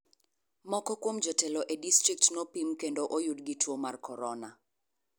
Moko kuom jotelo e district nopim kendo oyudo gi tuo mar korona.